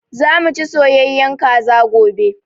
Za mu ci soyayyen Kaza gobe